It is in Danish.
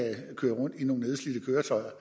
køre rundt i nogle nedslidte køretøjer